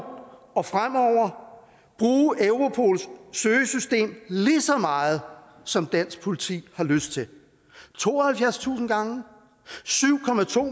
og fremover bruge europols søgesystem lige så meget som dansk politi har lyst til tooghalvfjerdstusind gange syv